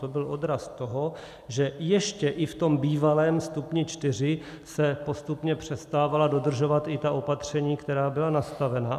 To byl odraz toho, že ještě i v tom bývalém stupni čtyři se postupně přestávala dodržovat i ta opatření, která byla nastavena.